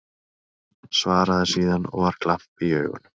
Svaraði síðan, og var glampi í augunum